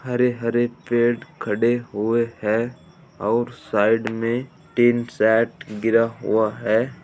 हरे हरे पेड़ खड़े हुए हैं और साइड में टीन सेट गिरा हुआ है।